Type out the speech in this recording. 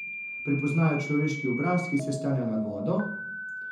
Prepoznajo človeški obraz, ki se sklanja nad vodo?